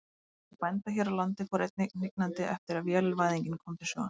Útgerð bænda hér á landi fór einnig hnignandi eftir að vélvæðingin kom til sögunnar.